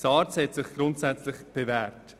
SARZ hat sich grundsätzlich bewährt.